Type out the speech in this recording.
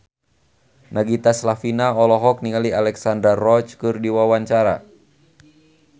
Nagita Slavina olohok ningali Alexandra Roach keur diwawancara